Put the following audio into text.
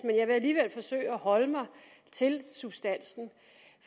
jeg vil alligevel forsøge at holde mig til substansen